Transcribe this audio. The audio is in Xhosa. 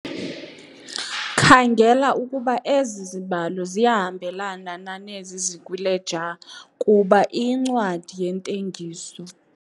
Khangela ukuba ezi zibalo ziyahambelana na nezi zikwileja kuba iyincwadi yeentengiso.